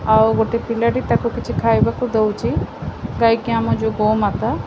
ଆଉ ଗୋଟେ ପିଲାଟେ ତାକୁ କିଛି ଖାଇବାକୁ ଦଉଚି ଗାଈକି ଆମ ଯଉ ଗୋମାତା।